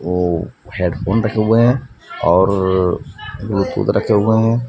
वो हैडफोन रखे हुआ हैं और ब्लूटूथ रखे हुए हैं।